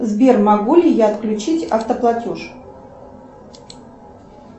сбер могу ли я отключить автоплатеж